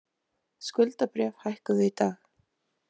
Skuldabréf hækkuðu í dag